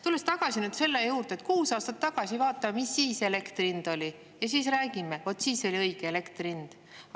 Tulen tagasi selle juurde, et kuus aastat tagasi – vaatame, mis siis elektri hind oli, ja siis räägime –, vaat siis oli õige elektri hind.